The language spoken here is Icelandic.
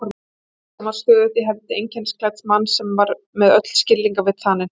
Byssan var stöðug í hendi einkennisklædds manns sem var með öll skilningarvit þanin.